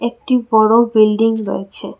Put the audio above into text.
একটি বড়ো বিল্ডিং রয়েছে।